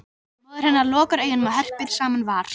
Móðir hennar lokar augunum og herpir saman var